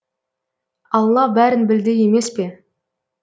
алла бәрін білді емес пе